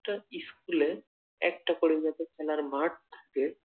প্রত্যেকটা স্কুলে একটা করে যাতে খেলার মাঠ থাকে।